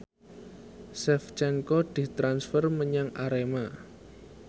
Shevchenko ditransfer menyang Arema